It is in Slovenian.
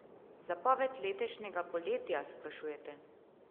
Zapoved letošnjega poletja, sprašujete?